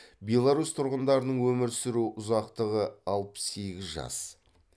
беларусь тұрғындарының өмір сүру ұзақтығы алпыс сегіз жас